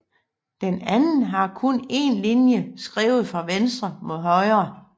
Den anden har kun én linje skrevet fra venstre mod højre